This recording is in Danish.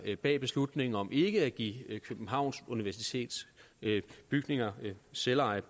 bag beslutningen om ikke at give københavns universitets bygninger selveje